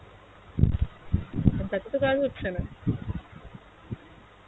তাতে তো কাজ হচ্ছে না